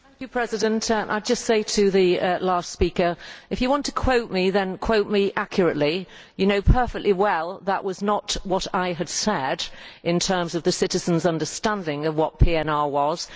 Madam President, I would just say to the last speaker if you want to quote me, then quote me accurately. You know perfectly well that that was not what I said in terms of the citizens' understanding of what PNR was.